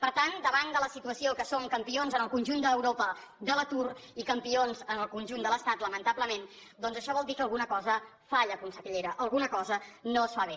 per tant davant de la situació que som campions en el conjunt d’europa de l’atur i campions en el conjunt de l’estat lamentablement doncs això vol dir que alguna cosa falla consellera alguna cosa no es fa bé